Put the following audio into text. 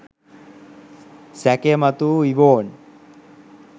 සැකය මතුවූ ඉවෝන්